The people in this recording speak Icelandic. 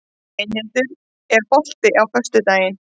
Steinhildur, er bolti á föstudaginn?